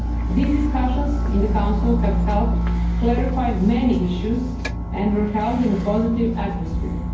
These discussions in the Council have helped clarify many issues and were held in a positive atmosphere.